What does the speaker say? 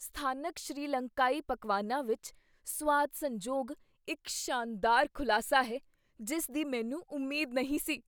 ਸਥਾਨਕ ਸ਼੍ਰੀਲੰਕਾਈ ਪਕਵਾਨਾਂ ਵਿੱਚ ਸੁਆਦ ਸੰਜੋਗ ਇੱਕ ਸ਼ਾਨਦਾਰ ਖੁਲਾਸਾ ਹੈ ਜਿਸ ਦੀ ਮੈਨੂੰ ਉਮੀਦ ਨਹੀਂ ਸੀ।